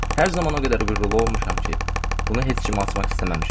Hər zaman o qədər qürurlu olmuşam ki, bunu heç kimə açmaq istəməmişəm.